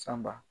Sanba